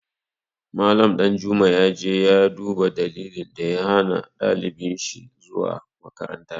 Mallam Ɗanjuma ya je ya duba dalilin da ya hana ɗalibin shi zuwa makaranta.